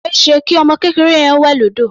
Kò ṣeéṣe kí ọmọ kékeré yẹn ó wẹ̀ lódò.